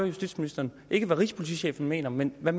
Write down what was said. justitsministeren ikke hvad rigspolitichefen mener men hvad